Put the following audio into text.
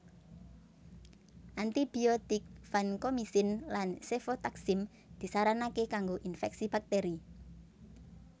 Antibiotik vankomisin lan sefotaksim disaranake kanggo infeksi bakteri